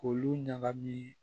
K'olu ɲagami